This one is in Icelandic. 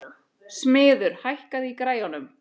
Smiður, hækkaðu í græjunum.